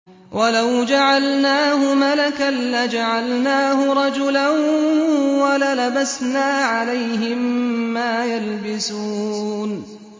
وَلَوْ جَعَلْنَاهُ مَلَكًا لَّجَعَلْنَاهُ رَجُلًا وَلَلَبَسْنَا عَلَيْهِم مَّا يَلْبِسُونَ